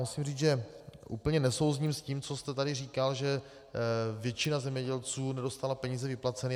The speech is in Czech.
Musím říct, že úplně nesouzním s tím, co jste tady říkal, že většina zemědělců nedostala peníze vyplaceny.